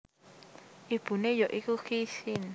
Ibune ya iku Qi Xin